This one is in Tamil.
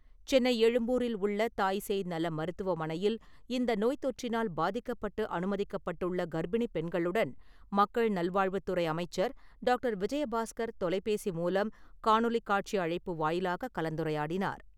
சென்னை எழும்பூரில் உள்ள தாய்சேய் நல மருத்துவமனையில் இந்த நோய் தொற்றினால் பாதிக்கப்பட்டு அனுமதிக்கப்பட்டுள்ள கர்ப்பிணிப் பெண்களுடன் மக்கள் நல்வாழ்வுத்துறை அமைச்சர் டாக்டர் விஜயபாஸ்கர் தொலைபேசி மூலம் காணொலி காட்சி அழைப்பு வாயிலாக கலந்துரையாடினார்.